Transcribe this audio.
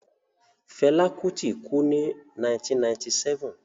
Fela Kuti kú ní 1997.